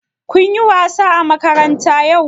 Kun yi wasa a makaranta yau?